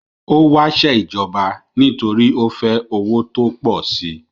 Ó wásẹ́ ìjọba nítorí ó fẹ́ owó tó pọ̀ si